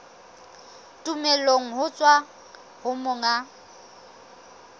tumello ho tswa ho monga